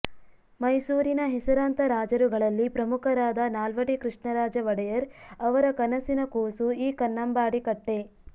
ಮೈಸೂರಿನ ಹೆಸರಾಂತ ರಾಜರುಗಳಲ್ಲಿ ಪ್ರಮುಖರಾದ ನಾಲ್ವಡಿ ಕೃಷ್ಣರಾಜ ಒಡೆಯರ್ ಅವರ ಕನಸಿನ ಕೂಸು ಈ ಕನ್ನಂಬಾಡಿ ಕಟ್ಟೆ